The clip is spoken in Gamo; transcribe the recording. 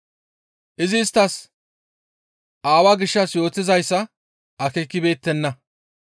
Izi isttas Aawaa gishshas yootizayssa akeekibeettenna.